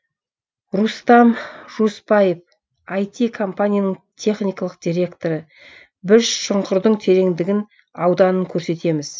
рустам жуыспаев іт компанияның техникалық директоры біз шұңқырдың тереңдігін ауданын көрсетеміз